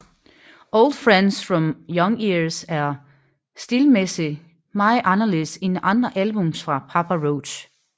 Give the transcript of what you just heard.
Old Friends From Young Years er stilmæssigt meget anderledes end andre albums fra Papa Roach